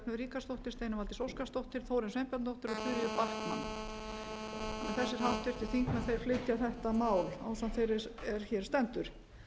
ríkharðsdóttir steinunn valdís óskarsdóttir þórunn sveinbjarnardóttir og þuríður backman þessir háttvirtir þingmenn þeir flytja þetta ásamt þeirri er hér stendur